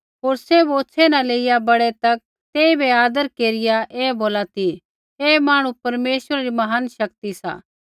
होर सैभ होछ़ै न लेईया बड़ै तक तेइबै आदर केरिया ऐ बोला ती ऐ मांहणु परमेश्वरै री महान शक्ति सा